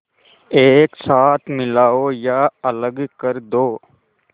एक साथ मिलाओ या अलग कर दो